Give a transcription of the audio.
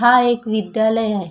हा एक विद्यालय आहे.